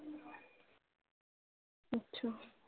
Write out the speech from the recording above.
আচ্ছা